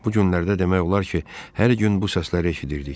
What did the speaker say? Bu günlərdə demək olar ki, hər gün bu səsləri eşidirdik.